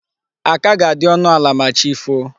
Aka ga-adi ọnụ ala ma chi foo.